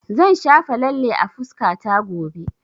Zan shafa lalle a fuskata gobe